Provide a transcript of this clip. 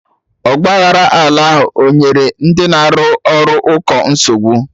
Ọgba aghara ala ahụ o nyere ndị na arụ ụkọ nsogbu?